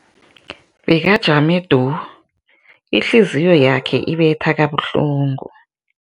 Bekajame du, ihliziyo yakhe ibetha kabuhlungu.